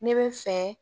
Ne bɛ fɛ